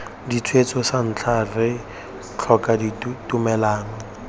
ditshwetso santlha re tlhoka tumellano